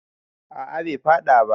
a a Bai faɗa ba